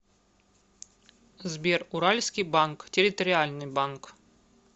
сбер уральский банк территориальный банк